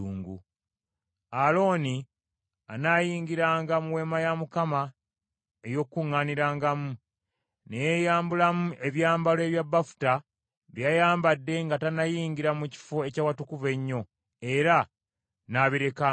“Alooni anaayingiranga mu Weema ey’Okukuŋŋaanirangamu, ne yeeyambulamu ebyambalo ebya bafuta bye yayambadde nga tannayingira mu Kifo eky’Awatukuvu Ennyo, era naabirekanga awo.